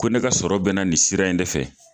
Ko ne ka sɔrɔ be na nin sira in de fɛ